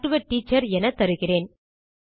talk to a teacher என தருகிறேன்